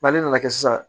ne nana kɛ sisan